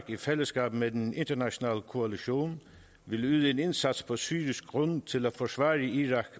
i fællesskab med den internationale koalition vil yde en indsats på syrisk grund til at forsvare irak